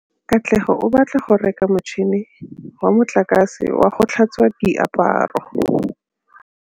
Katlego o batla go reka motšhine wa motlakase wa go tlhatswa diaparo.